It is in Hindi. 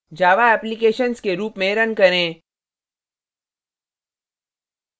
java applications के run में run करें